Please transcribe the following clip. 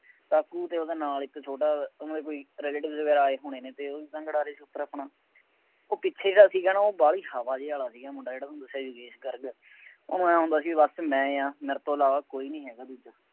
ਕਾਕੂ ਅਤੇ ਉਹਦੇ ਨਾਲ ਇੱਕ ਛੋਟਾ, ਉਹਨਾ ਦੇ ਕੋਈ relatives ਵਗੈਰਾ ਆਏ ਹੋਣੇ ਨੇ, ਅਤੇ ਉਹ ਵੀ ਪਤੰਗ ਉਡਾ ਰਹੇ ਸੀ ਫੇਰ ਆਪਣਾ, ਉਹ ਪਿੱਛੇ ਦਾ ਸੀਗਾ ਨਾ ਉਹ ਵਾਲੀ ਹਵਾ ਜਿਹੇ ਵਾਲਾ ਸੀਗਾ ਮੁੰਡਾ ਜਿਹੜਾ ਪਿੱਛੇ ਯੋਗੇਸ਼ ਗਰਗ, ਉਹਨੂੰ ਆਂਏਂ ਹੁੰਦਾ ਸੀ ਬਸ ਮੈਂ ਹਾਂ ਮੇਰੇ ਤੋਂ ਇਲਾਵਾ ਕੋਈ ਨਹੀਂ ਹੈਗਾ ਹੋਰ।